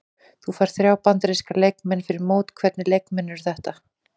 Þú færð þrjá Bandaríska leikmenn fyrir mót, hvernig leikmenn eru þetta?